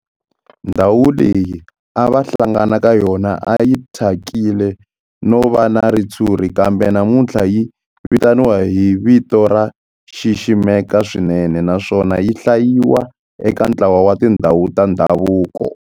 Ndhawu leyi a va hlangana ka yona a yi thyakile no va na ritshuri kambe namuntlha yi vitaniwa hi vito ro xiximeka swinene naswona yi hlayiwa eka ntlawa wa tindhawu ta ndhavuko.